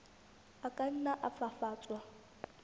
a ka nna a fafatswa